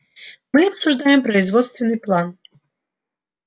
мы обсуждаем производственный план